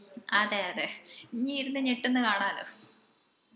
അതെ അതെ ഇഞ്ജ് ഇരുന്ന് ഞെട്ടുന്ന കാണാലോ